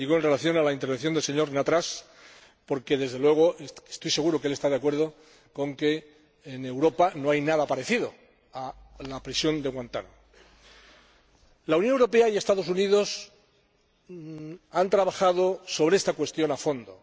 Lo digo en relación con la intervención del señor Nattrass, porque, desde luego, estoy seguro de que él está de acuerdo con que en Europa no hay nada parecido a la prisión de Guantánamo. La Unión Europea y los Estados Unidos han trabajado sobre esta cuestión a fondo.